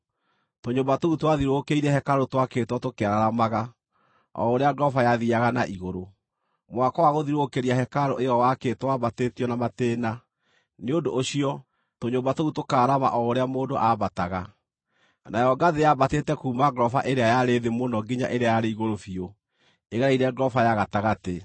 Tũnyũmba tũu twathiũrũrũkĩirie hekarũ twakĩtwo tũkĩararamaga o ũrĩa ngoroba yathiiaga na igũrũ. Mwako wa gũthiũrũrũkĩria hekarũ ĩyo waakĩtwo wambatĩtio na matĩĩna, nĩ ũndũ ũcio, tũnyũmba tũu tũkaaraarama o ũrĩa mũndũ aambataga. Nayo ngathĩ yambatĩte kuuma ngoroba ĩrĩa yarĩ thĩ mũno nginya ĩrĩa ĩrĩ igũrũ biũ ĩgereire ngoroba ya gatagatĩ.